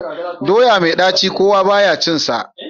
Doya mai ɗaci kowa ba ya cinsa.